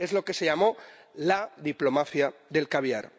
Es lo que se llamó la diplomafia del caviar.